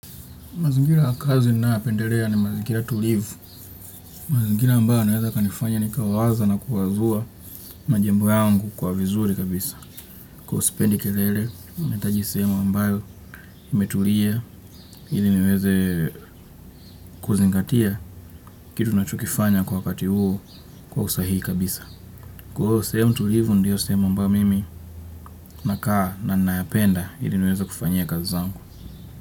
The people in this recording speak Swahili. Mazingira ya kazi ninayopendelea ni mazingira tulivu, mazingira ambayo yanaweza kanifanya nikawaza na kuwazua majibu yangu kwa vizuri kabisa. Sipendi kelele, nahitaji sehemu ambayo imetulia ili niweze kuzingatia kitu ninachokifanya kwa wakati huo kwa usahihi kabisa. Sehemu tulivu ndiyo sehemu ambayo mimi nakaa na nayapenda ili niweze kufanyia kazi zangu.